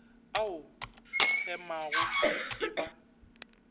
a o hemago e ba